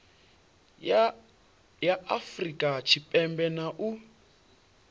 ya afurika tshipembe na u